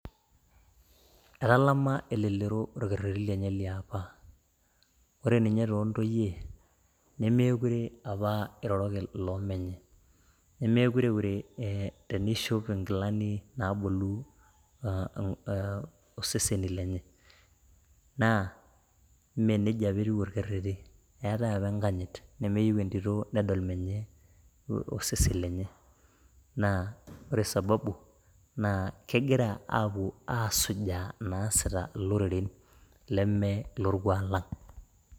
Etalama elelero orkereti liapa, ore ninye to ntoiye nemeekurie apa eiroroki loomenye, nemekure eure teneishop engilani naabulu oseseni lenye naa mee neja apa etiu orkereti, eatae apa enkanyit nemeyeu entito nedol menye osesen lenye naa ore sababu naa kegira aaku asujaa naasita loreren le mee lolkuak lang'